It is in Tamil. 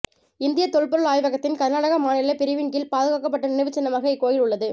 இந்தியத் தொல்பொருள் ஆய்வகத்தின் கர்நாடக மாநில பிரிவின் கீழ் பாதுகாக்கப்பட்ட நினைவுச்சின்னமாக இக்கோயில் உள்ளது